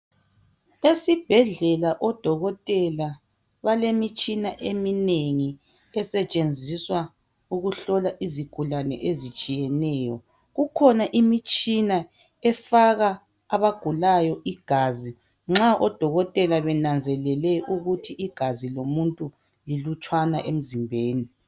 Esibhedlela odokotela balemitshina eminengi esetshenziswa ukuhlola izigulane ezitshiyeneyo. Kukhona imitshina efaka abagulayo igazi nxa odokotela benanzelele ukuthi igazi lomuntu lilutshwane emzimbeni.